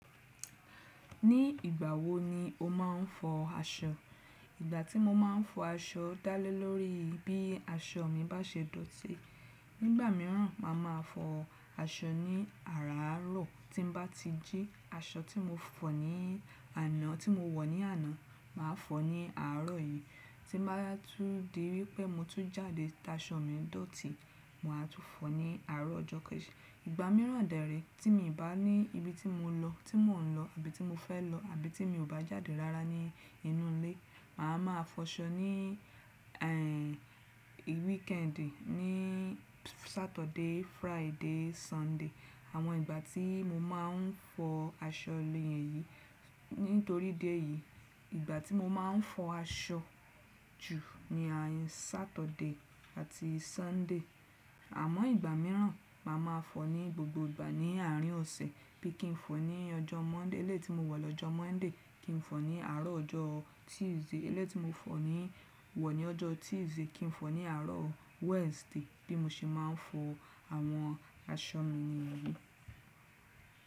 Ní ìgbà wo ni o máa ń fọ aṣọ? Ìgbà tí mo máa ń fọ aṣọ dále lórí bí aṣọ mi bá ṣe dọ̀tí. Nígbà míràn, màá máa fọ aṣọ ní àarárọ̀ tí n bá ti jí aṣọ tí mo fọ̀ ní àná, tí mo wọ̀ ní àná, màá fọ̀ ní àárọ̀ yìí. Tí bá tú di wípé mo tú jáde tá aṣọ mi dọ̀tí, màá tún fọ̀ ní àárọ̀ ọjọ́ kejì. Ìgbà míràn dàre, tí mi ò bá ní ibi tí mo lọ, tí mò ń lọ àbí ti mo fẹ́ lọ àbí tí mi ò bá jáde lára ní inú ilé, màá máa fọ aṣọ ní ẹ́ ì weekendì, ní Saturday, Friday, Sunday. Àwọn ìgbà tí mo máa ń fọ aṣọ lèyẹn yìí. Nítorí idi eyìí, ìgbà tí mo máa ń fọ aṣọ jù ni Saturday àti Sunday. Àmọ́ ìgbà míràn, màá máa fọ̀ ní gbogbo ìgbà ní àárín ọ̀sẹ̀ bí i kí n fọ̀ ní ọjọ́ Monday elé tí mo wọ̀ lọ́jọ́ Monday kí n fọ̀ ní àárọ̀ ọjọ́ Tuesday elé tí mo fọ̀ ní wọ̀ ní ọjọ́ Tuesday kí n fọ̀ ní àárọ̀ Wednesday bí mo ṣe máa ń fọ àwọn aṣọ mi nìyí.